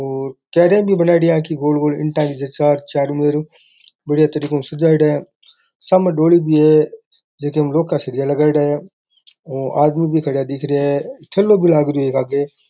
और क्यारियां भी बनायेडी है आंकी गोल गोल ईंटा की जच्चा र चारों मेर हु बढ़िया तरीका हु सजायेडा है सामने डोली भी है जे के में लो का सरिया लगायेड़ा है आदमी भी खड़ा दिख रेया है ठेलो भी लाग रयो है एक आग --